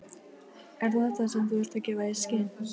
Er það þetta, sem þú ert að gefa í skyn?